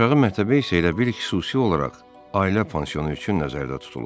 Aşağı mərtəbə isə elə bil xüsusi olaraq ailə pansionu üçün nəzərdə tutulub.